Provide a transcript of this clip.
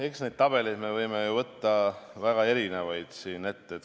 Eks neid tabeleid me võime võtta siin ette väga erinevaid.